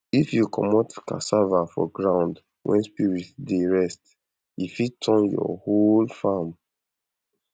if you commot cassava for ground when spirit dey rest e fit turn your whole store to worm factory